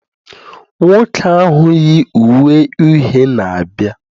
nwoke ahụ yi uwe uhie na-abịa